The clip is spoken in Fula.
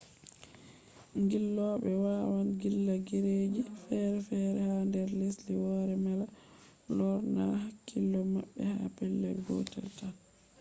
ngilloɓe wawaan ngilla gureji feere feere ha nder lesdi woore mala lornaa hakkilo maɓɓe ha pelel gotel taan